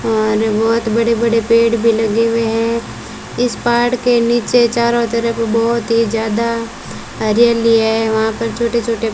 और बहुत बड़े बड़े पेड़ भी लगे हुए हैं इस पहाड़ के नीचे चारों तरफ को बहुत ही ज्यादा हरियाली है वहां पर छोटे छोटे --